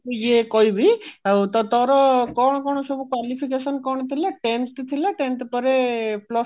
ମୁଁ ତ ଇଏ କହିବି ତ ତୋର କଣ କଣ ସବୁ qualification କଣ ଥିଲା tenth ଥିଲା tenth ପରେ plus two